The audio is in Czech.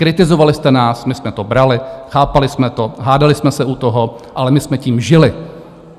Kritizovali jste nás, my jsme to brali, chápali jsme to, hádali jsme se u toho, ale my jsme tím žili.